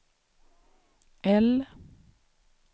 L